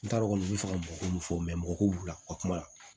N t'a dɔn kɔni u bɛ fɛ ka mɔgɔw fɔ mɔgɔw b'u ka kuma la